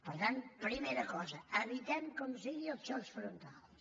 per tant primera cosa evitem com sigui els xocs frontals